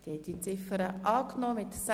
Abstimmung (Geschäft 2017.RRGR.500 / M